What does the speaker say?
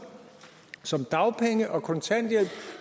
som dagpenge og kontanthjælp